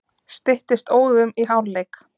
Styttist óðum í hálfleik.